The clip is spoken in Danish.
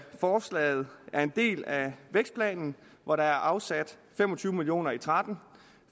forslaget er en del af vækstplanen hvor der er afsat fem og tyve million og tretten